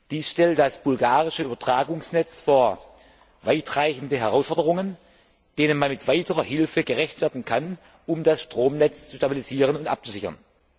Dies stellt das bulgarische Übertragungsnetz vor weitreichende Herausforderungen, denen man mit weiterer Hilfe gerecht werden kann, um das Stromnetz zu stabilisieren und abzusichern.